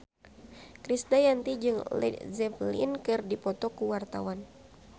Krisdayanti jeung Led Zeppelin keur dipoto ku wartawan